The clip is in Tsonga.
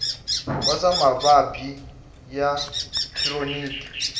wa swa mavabyi ya khironiki